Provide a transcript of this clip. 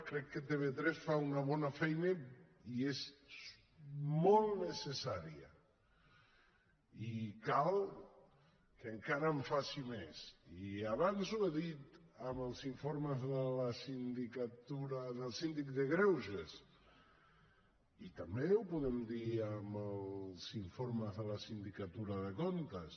crec que tv3 fa una bona feina i és molt necessària i cal que encara en faci més i abans ho he dit amb els informes del síndic de greuges i també ho podem dir amb els informes de la sindicatura de comptes